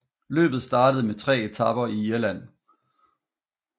Løbet startede med tre etaper i Irland